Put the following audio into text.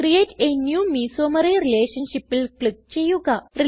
create a new mesomery relationshipൽ click ചെയ്യുക